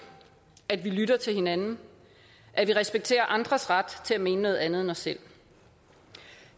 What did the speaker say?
at vi lytter til hinanden at vi respekterer andres ret til at mene noget andet end os selv